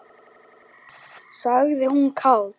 sagði hún kát.